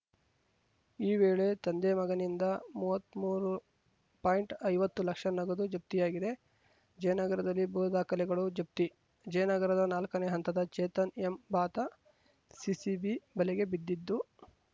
ಈ ವೇಳೆ ತಂದೆಮಗನಿಂದ ಮೂವತ್ಮೂರು ಪಾಯಿಂಟ್ಐವತ್ತು ಲಕ್ಷ ನಗದು ಜಪ್ತಿಯಾಗಿದೆ ಜಯನಗರದಲ್ಲಿ ಭೂ ದಾಖಲೆಗಳು ಜಪ್ತಿ ಜಯನಗರದ ನಾಲ್ಕನೇ ಹಂತದ ಚೇತನ್‌ ಎಂಬಾತ ಸಿಸಿಬಿ ಬಲೆಗೆ ಬಿದ್ದಿದ್ದು